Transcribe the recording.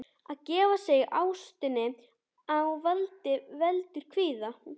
Að gefa sig ástinni á vald veldur kvíða.